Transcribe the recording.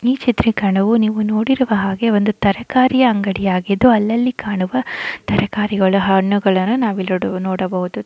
ಈ ಚಿತ್ರಿಕರಣವು ನೀವು ನೋಡಿರುವ ಹಾಗೆ ಒಂದು ತರಕಾರಿಯ ಅಂಗಡಿಯಾಗಿದ್ದು ಅಲ್ಲಲ್ಲಿ ಕಾಣುವ ತರಕಾರಿಗಳ ಹಣ್ಣುಗಳನ್ನು ನಾವಿಲ್ಲಿ ನೋಡಬಹುದು.